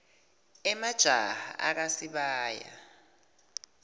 emajaha akha sibaya